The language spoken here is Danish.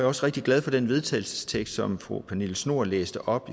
også rigtig glad for den vedtagelsestekst som fru pernille schnoor læste op